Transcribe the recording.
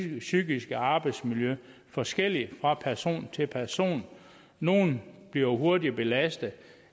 det psykiske arbejdsmiljø forskelligt fra person til person nogle bliver hurtigere belastet